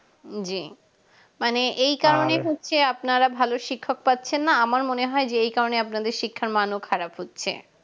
জি মানে এই কারণে হচ্ছে আপনারা ভালো শিক্ষক পাচ্ছেন না আমার মনে হয় যে এই কারণে আপনাদের শিক্ষার মান ও খারাপ হচ্ছে